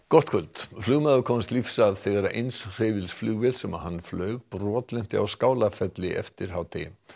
gott kvöld flugmaður komst lífs af þegar eins hreyfils flugvél sem hann flaug brotlenti á Skálafelli eftir hádegi